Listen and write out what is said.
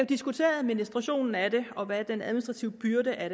diskutere administrationen af det og hvad den administrative byrde af